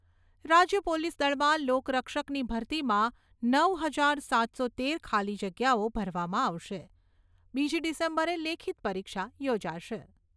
રાજ્ય પોલીસ દળમાં લોકરક્ષકની ભરતીમાં નવ હાજર સાતસો તેર ખાલી જગ્યાઓ ભરવામાં આવશે. બીજી ડિસેમ્બરે લેખિત પરીક્ષા યોજાશે.